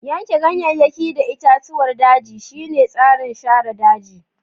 Yanke ganyayyaki da itatuwar daji shine tsarin share daji.